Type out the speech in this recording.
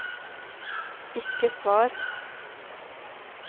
ikke svar